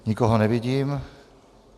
Nikoho nevidím.